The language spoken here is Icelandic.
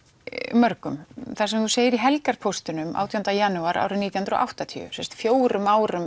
mörgum það sem þú segir í helgarpóstinum átjánda janúar nítján hundruð og áttatíu sem sagt fjórum árum